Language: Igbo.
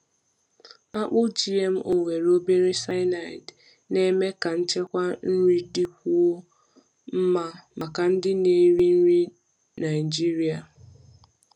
Akpụ GMO nwere obere cyanide na-eme ka nchekwa nri dịkwuo mma maka ndị na-eri nri na-eri nri Naijiria.